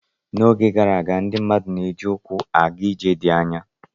N'oge gara aga, ndị mmadụ na-eji ụkwụ nkịtị aga ije dị anya.